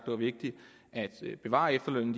var vigtigt at bevare efterlønnen